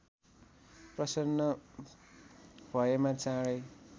प्रसन्न भएमा चाँडै